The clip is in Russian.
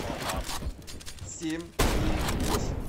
семь три восемь